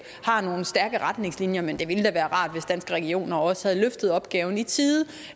har nogle stærke retningslinjer men det ville da være rart hvis danske regioner også havde løftet opgaven i tide